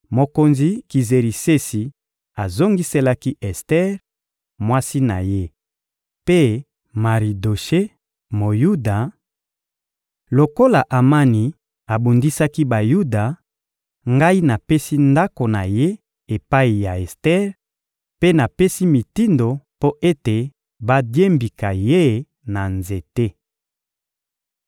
Mokonzi Kizerisesi azongiselaki Ester, mwasi na ye, mpe Maridoshe, Moyuda: — Lokola Amani abundisaki Bayuda, ngai napesi ndako na ye epai ya Ester; mpe napesi mitindo mpo ete badiembika ye na nzete.